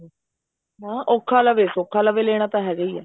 ਹਾਂ ਔਖਾ ਲਵੇ ਸੋਖਾ ਲਵੇ ਲੈਣਾ ਤਾਂ ਹੈਗਾ ਹੀ ਆ